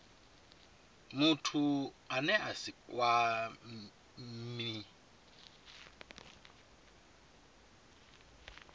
muthu ane a si kwamee